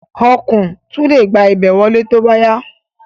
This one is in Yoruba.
Ọ̀kùn tún le gba ibẹ̀ wọlé tóbá yá